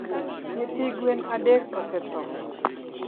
Nyithi gwen adek osetho